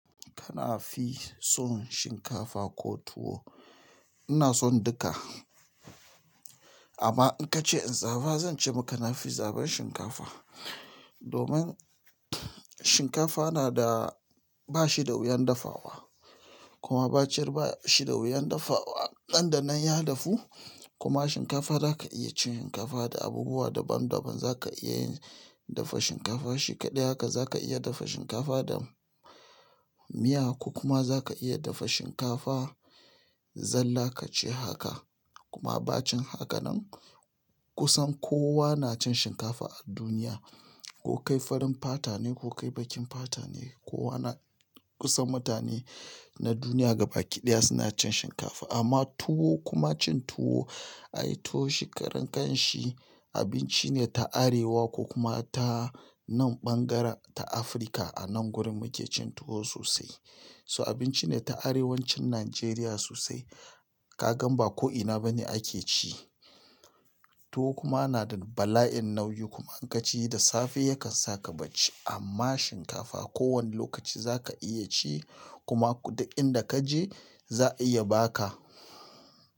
Kana fi son shinkafa ko tuwo? Ina son duka. Amma in ka ce in zaba zan ce maka na fi zabar shinkafa. Domin shinkafa na da bashi da wuyan dafawa kuma bacar ba shi da wuyan dafawa. Nan da nan ya dafu kuma shinkafa za ka iya cin shinkafa da abubuwa daban daban. Za ka iya dafa shinkafa shi ƙadai haka, za ka iya dafa shinkafa da miya ko kuma za ka iya dafa shinkafa zalla kaci haka kuma bacin haka nan kusan kowa na cin shinkafa a duniya. Ko kai farin fata ne ko kai baƙin fata ne, kowa na kusan mutane na duniya gabaki ɗaya suna cin shinkafa. Amma tuwo kuma cin tuwo, ayi tuwo shi karan kan shi, abinci ne ta arewa ko kuma ta nan ɓangaren ta Afirka, a nan gurin muke cin tuwo sosai. So abinci ne ta arewacin Najeriya sosai. Ka gan ba ko'ina bane ake ci. Tuwo kuma yana da bala'in nauyi kuma in ka ci da safe yakan saka bacci. Amma shinkafa ko wane lokaci za ka iya ci kuma kuɗin da ka je za a iya ba ka.